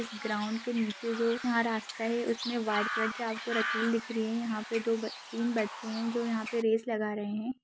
इस ग्राउंड के नीचे जो यहाँ रास्ता है उसमें व्हाइट कलर की आपको लकीर दिख रही है यहाँ पे दो ब-तीन बच्चे है जो यहाँ पे रेस लगा रहे है।